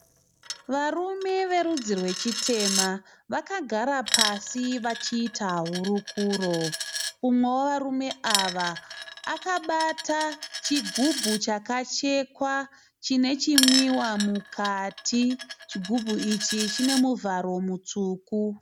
Varume verudzi rwechitema vakagara pasi vachiita hurukuro. Mumwe wevarume ava akabata chigumbu chakachekwa chine chinwiwa mukati, chigubhu ichi chine muvharo mutsvuku.